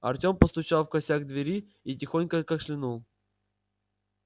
артём постучал в косяк двери и тихонько кашлянул